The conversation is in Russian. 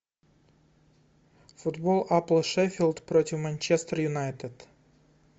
футбол апл шеффилд против манчестер юнайтед